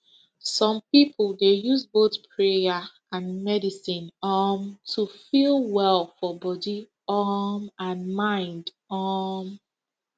some people dey use both prayer and medicine um to feel well for body um and mind um